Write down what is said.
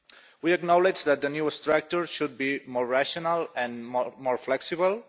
We acknowledge that the new structure should be more rational and more flexible.